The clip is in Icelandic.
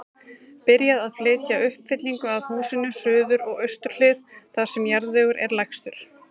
Byrjað að flytja uppfyllingu að húsinu, suður og austur hlið, þar sem jarðvegur er lægstur.